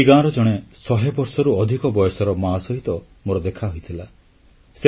ସେହି ଗାଁର ଜଣେ ଶହେ ବର୍ଷରୁ ଅଧିକ ବୟସର ମା ସହିତ ମୋର ଦେଖା ହୋଇଥିଲା